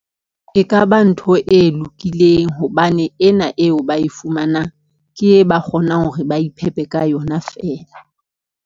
E kaba ntho e lokileng hobane ena eo ba e fumanang, ke e ba kgonang hore ba iphepe ka yona feela.